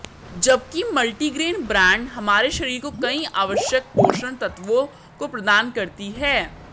जबकि multigrain bread हमारे शरीर को कई आवश्यक पोषण तत्वों को प्रदान करती है